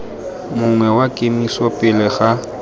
mongwe wa kemiso pele ga